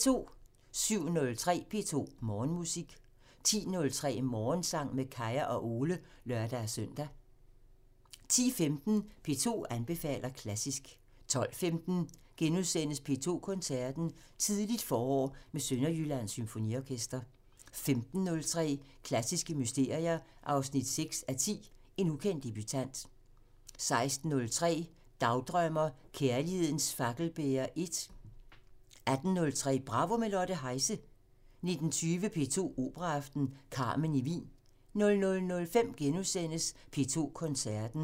07:03: P2 Morgenmusik 10:03: Morgensang med Kaya og Ole (lør-søn) 10:15: P2 anbefaler klassisk 12:15: P2 Koncerten – Tidligt forår med Sønderjyllands Symfoniorkester * 15:03: Klassiske mysterier 6:10 – En ukendt debutant 16:03: Dagdrømmer: Kærlighedens fakkelbærer 1 18:03: Bravo – med Lotte Heise 19:20: P2 Operaaften – Carmen i Wien 00:05: P2 Koncerten * 02:45: Intermezzo (lør-søn)